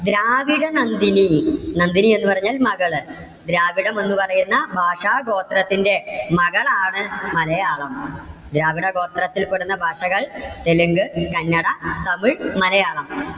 ദ്രാവിഡ നന്ദിനി. നന്ദിനി എന്ന് പറഞ്ഞാൽ മകള്. ദ്രാവിഡം എന്ന് പറയുന്ന ഭാഷാഗോത്രത്തിന്റെ മകളാണ് മലയാളം. ദ്രാവിഡ ഗോത്രത്തിൽ പെടുന്ന ഭാഷകൾ തെലുങ്ക്, കന്നഡ, തമിഴ്, മലയാളം.